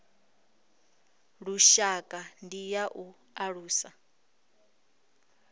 lushaka ndi ya u alusa